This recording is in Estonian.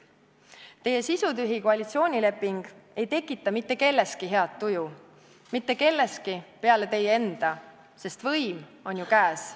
Teie sisutühi koalitsioonileping ei tekita mitte kelleski head tuju – mitte kelleski peale teie enda, sest võim on ju käes.